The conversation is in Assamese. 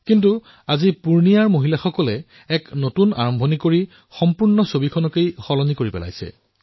কিন্তু আজি পুৰ্ণিয়াৰ মহিলাসকলে এক নতুন আৰম্ভণি কৰিলে আৰু সমগ্ৰ চিত্ৰপট পৰিৱৰ্তন কৰি পেলালে